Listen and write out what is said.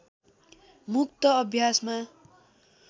मुक्त अभ्यासमा